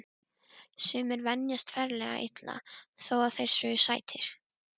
Sumir venjast ferlega illa þó að þeir séu sætir.